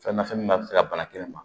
Fɛn nafɛn min b'a se ka bana kelen ma